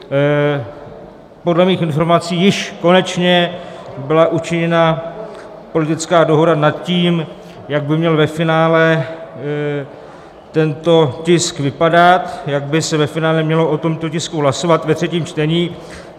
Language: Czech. Podle mých informací již konečně byla učiněna politická dohoda nad tím, jak by měl ve finále tento tisk vypadat, jak by se ve finále mělo o tomto tisku hlasovat ve třetím čtení.